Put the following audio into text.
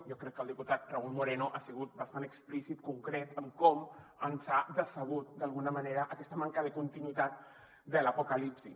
jo crec que el diputat raúl moreno ha sigut bastant explícit concret en com ens ha decebut d’alguna manera aquesta manca de continuïtat de l’apocalipsi